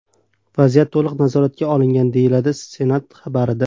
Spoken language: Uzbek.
Vaziyat to‘liq nazoratga olingan, deyiladi Senat xabarida.